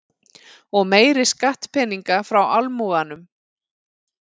Og meiri skattpeninga frá almúganum.